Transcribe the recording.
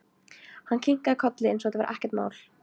Hann kinkaði kolli eins og þetta væri ekkert mál.